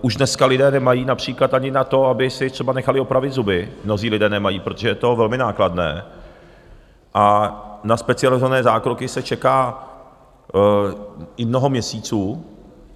Už dneska lidé nemají například ani na to, aby si třeba nechali opravit zuby, mnozí lidé nemají, protože je to velmi nákladné, a na specializované zákroky se čeká i mnoho měsíců